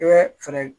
I bɛ fɛɛrɛ